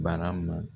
Barama